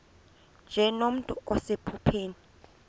nje nomntu osephupheni